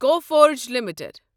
Coforge limited